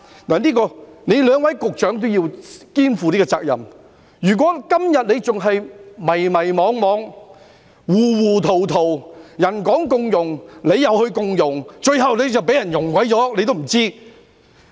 就此，兩位局長均要肩負這個責任，如果他們今天仍然迷迷惘惘、糊糊塗塗，別人說共融，他們便共融，最後被人"溶了"也不知道。